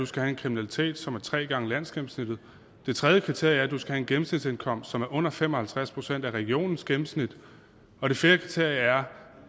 skal være en kriminalitet som er tre gange landsgennemsnittet det tredje kriterie er at du skal have en gennemsnitsindkomst som er under fem og halvtreds procent af regionens gennemsnit og det fjerde kriterie er